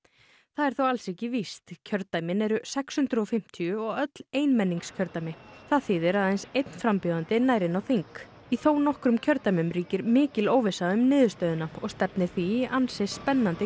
það þó alls ekki víst kjördæmin eru sex hundruð og fimmtíu og öll einmenningskjördæmi það þýðir að aðeins einn frambjóðandi nær inn á þing í þónokkrum kjördæmum ríkir mikil óvissa um niðurstöðuna og stefnir því í ansi spennandi